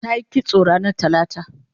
tayi kitso ranar talata